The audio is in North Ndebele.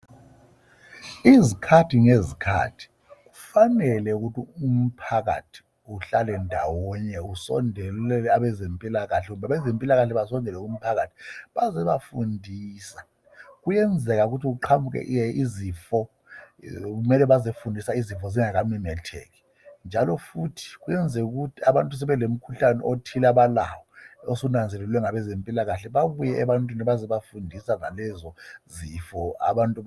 Izikhathi ngezikhathi kufanele ukuthi umphakathi uhlale ndawonye usondele kwabezempilakahle kumbe abazempilakahle basondele kumphakathi bazobafundisa. Kwenzeka ukuthi kuqhamuke izifo kumele bazofundisa izifo zingaka memetheki njalo futhi kwenzeka ukuthi abantu sebelo mkhuhlane othile abalawo osunanzelelwe ngabezempilakahle babuye ebantwini bazobafundisa ngalezo zifo abantu ba.